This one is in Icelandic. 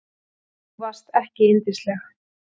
Þú varst ekki yndisleg.